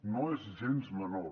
no és gens menor